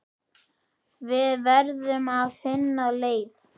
Við verðum að finna leið.